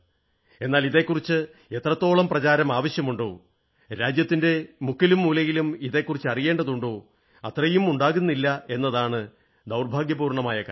എന്നാൽ ഇതെക്കുറിച്ച് എത്രത്തോളം പ്രചാരം ആവശ്യമുണ്ടോ രാജ്യത്തിന്റെ മുക്കിലും മൂലയിലും ഇതെക്കുറിച്ച് അറിയേണ്ടതുണ്ടോ അത്രയും ഉണ്ടാകുന്നില്ല എന്നതാണ് ദുർഭാഗ്യപൂർണ്ണമായ കാര്യം